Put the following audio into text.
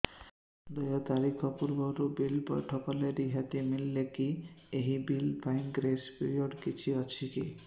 ଦେୟ ତାରିଖ ପୂର୍ବରୁ ବିଲ୍ ପୈଠ କଲେ ରିହାତି ମିଲେକି ଏହି ବିଲ୍ ପାଇଁ ଗ୍ରେସ୍ ପିରିୟଡ଼ କିଛି ଅଛିକି